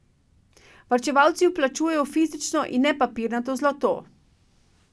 Varčevalci vplačujejo fizično in ne papirnato zlato.